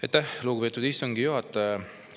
Aitäh, lugupeetud istungi juhataja!